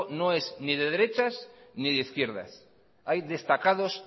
no es de derechos ni de izquierdas hay destacados